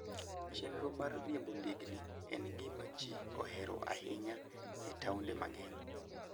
Chenro mar riembo ndigni en gima ji ohero ahinya e taonde mang'eny.